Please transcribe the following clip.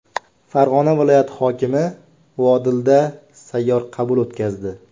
Farg‘ona viloyati hokimi Vodilda sayyor qabul o‘tkazdi.